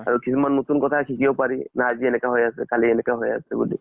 আৰু কিছুমান নতুন কথা শিকিব পাৰি। না আজি এনেকা হৈ আছে কালি এনেকা হৈ আছে বুলি।